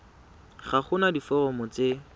ga go na diforomo tse